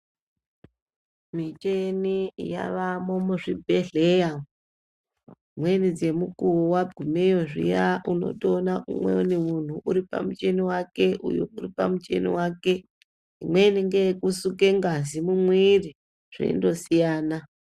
Michini yavayo kuzvibhedhlera dzimweni dzemukuwo wakugumeyo zviya unondoona umweni muntu uri pamuchini wake uyo uri pamuchini wake umweni ndowo kusuka ngazi mumuviri zveindo siyana.